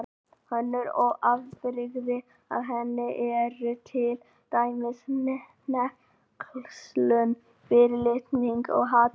Önnur afbrigði af henni eru til dæmis hneykslun, fyrirlitning og hatur.